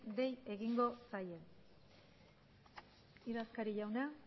dei egingo zaie idazkari jauna